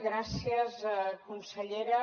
gràcies consellera